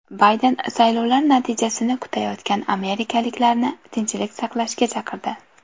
Bayden saylovlar natijasini kutayotgan amerikaliklarni tinchlik saqlashga chaqirdi.